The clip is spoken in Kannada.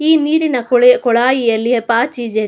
ಈ ನೀರಿನ ಕೊಳಾಯಿಯಲ್ಲಿ ಪಾಚಿ ಇಜೆ.